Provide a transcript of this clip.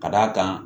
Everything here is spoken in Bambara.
Ka d'a kan